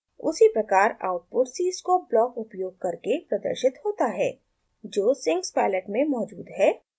उसी प्रकार output cscope block उपयोग करके प्रदर्शित होता है जो sinks palette में मौजूद है